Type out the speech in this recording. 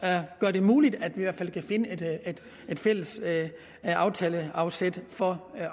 gør det muligt at vi i hvert fald kan finde et fælles aftaleafsæt for